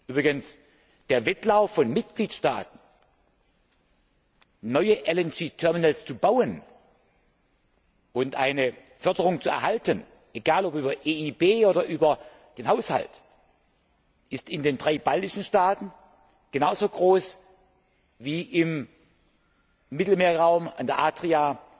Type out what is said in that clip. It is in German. Übrigens ist der Wettlauf von Mitgliedstaaten, neue LNG Terminals zu bauen und eine Förderung zu erhalten, egal ob über die EIB oder über den Haushalt, in den drei baltischen Staaten genauso groß wie im Mittelmeerraum, an der Adria,